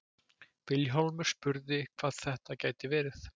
Vilhjálmur spurði hvað þetta gæti verið.